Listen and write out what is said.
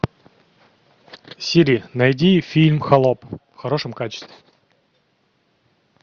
сири найди фильм холоп в хорошем качестве